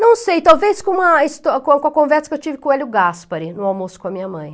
Não sei, talvez com uma histó, com com a conversa que eu tive com o Hélio Gaspari, no almoço com a minha mãe.